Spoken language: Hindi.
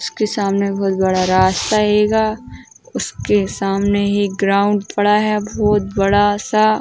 उसके सामने बहोत बड़ा रास्ता हैगा । उसके सामने एक ग्राउंड पड़ा है बहोत बड़ा सा --